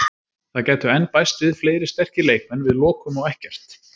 Það gætu enn bæst við fleiri sterkir leikmenn, við lokum á ekkert.